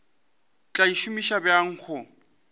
tla e šomiša bjang go